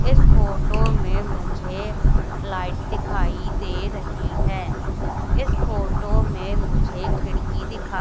इस फोटो में मुझे लाइट दिखाई दे रही है इस फोटो में मुझे खिड़की दिखा --